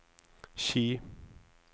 Ski